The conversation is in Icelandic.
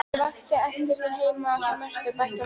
Ég vakti eftir þér heima hjá Mörtu, bætti hún við.